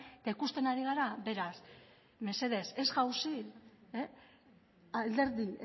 eta ikusten ari gara beraz mesedez ez jauzi alderdi